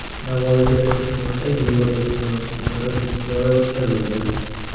Navoiyda ilk marta Yevropa kinosi kunlari festivali o‘tkazildi.